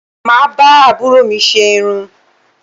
Mà á bá àbúrò mi ṣe irun